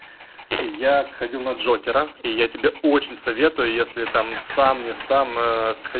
я сходил на джокера и я тебе очень советую если там сам не сам ээ схо